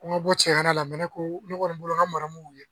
Ko n ka bɔ cɛya la ne ko ne kɔni bolo nka maraw ye